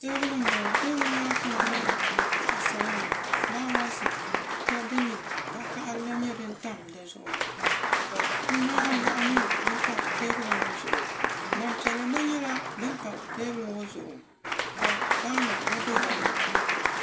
Teebuli n bɔŋɔ teebuli maa kama nyɛla zaɣ sabinli ka fulaawaasi din nyɛ vakahali gba tam dizuɣu kundi maa n lahi nyɛ din pa teebuli ŋman piɛli gba nyɛla din pa teebuli zuɣu ka paanu gna bɛ dinni